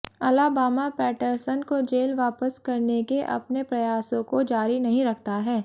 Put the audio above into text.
Alabama Patterson को jail वापस करने के अपने प्रयासों को जारी नहीं रखता है